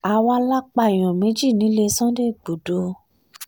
àwa la pààyàn méjì nílé sunday igbodò